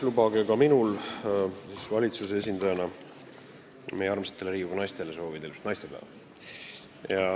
Lubage ka minul valitsuse esindajana meie armsatele Riigikogu naistele ilusat naistepäeva soovida.